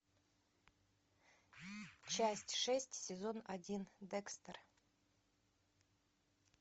часть шесть сезон один декстер